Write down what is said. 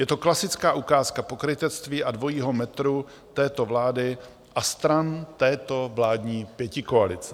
Je to klasická ukázka pokrytectví a dvojího metru této vlády a stran této vládní pětikoalice.